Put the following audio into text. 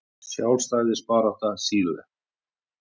Sjálfstæðisbarátta Chile.